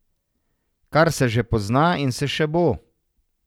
Kar se že pozna in se še bo.